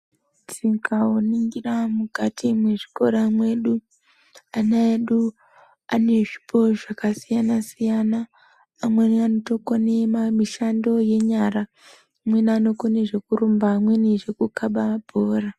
Tikaningira mukati mwezvikora mwedu ana edu ane zvipo zvakasiyana siyana amweni anotokone mishando yenyara amweni anokone zvekurumba amweni zvekukaba mabhora.